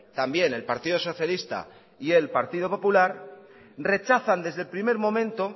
también el partido socialista y el partido popular rechazan desde el primer momento